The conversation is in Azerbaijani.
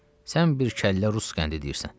Sən bir kəllə rus qəndi deyirsən.